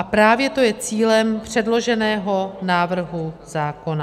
A právě to je cílem předloženého návrhu zákona.